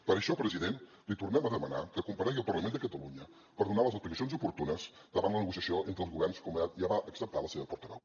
per això president li tornem a demanar que comparegui al parlament de catalunya per donar les explicacions oportunes davant la negociació entre els governs com ja va acceptar la seva portaveu